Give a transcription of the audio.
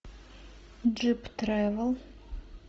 джип тревел